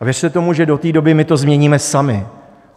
A věřte tomu, že do té doby my to změníme sami.